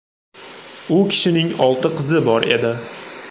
U kishining olti qizi bor edi.